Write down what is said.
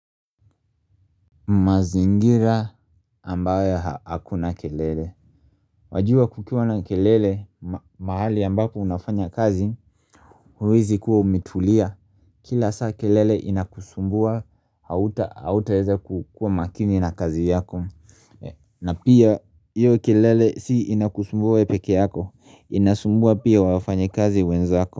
Mazingira ambayo hakuna kelele Wajua kukiwa na kelele mahali ambako unafanya kazi huwezi kuwa umetulia kila saa kelele inakusumbua hauta hauta eza kukua makini na kazi yako na pia hio kelele si inakusumbua peke yako inasumbua pia wafanya kazi wenzako.